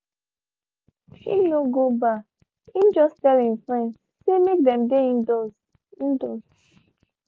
him no go bar him just tell him friends say make them dey indoors indoors